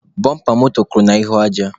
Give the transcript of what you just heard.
Bọmpa moto kụrụ n'ahụ aja.